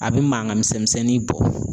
A bɛ mankan misɛn misɛnnin bɔ.